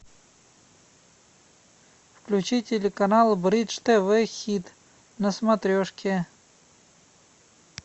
включи телеканал бридж тв хит на смотрешке